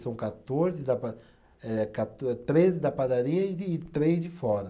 São quatorze da pada, eh quator,é treze da padaria e de três de fora.